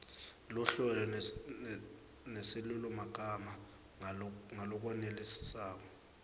luhlelo nesilulumagama ngalokwenelisako